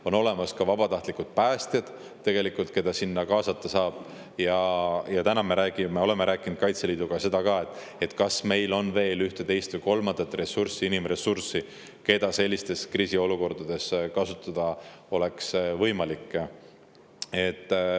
On veel olemas vabatahtlikud päästjad, keda sinna kaasata saab, ja me oleme rääkinud ka Kaitseliiduga, kas meil on veel ühte, teist või kolmandat inimressurssi, keda sellistes kriisiolukordades kasutada oleks võimalik.